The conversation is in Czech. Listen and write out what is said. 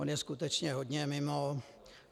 On je skutečně hodně mimo.